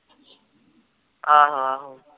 ਆਹੋ ਆਹੋ